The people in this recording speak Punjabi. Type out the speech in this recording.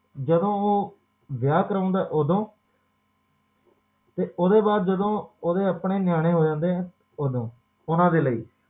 ਜਦੋ ਓਹੋ ਵਿਆਹ ਕਰਾਉਂਦਾ ਓਦੋ ਤੇ ਓਹਦੇ ਬਾਅਦ ਜਦੋ ਓਹਦੇ ਆਪਣੇ ਨਿਆਣੇ ਹੋ ਜਾਂਦੇ ਓਦੋ ਓਹਨਾ ਦੇ ਲਈ